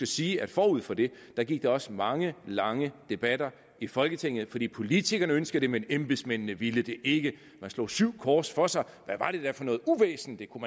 sige at forud for det gik der også mange lange debatter i folketinget fordi politikerne ønskede det men embedsmændene ville det ikke man slog syv kors for sig hvad var det da for noget uvæsen det kunne